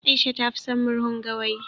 Aisha ta fi son murhun gawayi